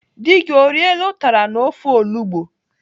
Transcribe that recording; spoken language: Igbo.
Dị gị o riela ụtara na ofe olugbo?